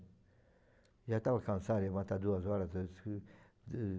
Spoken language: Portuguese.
Já estava cansado de levantar duas horas tudo escuro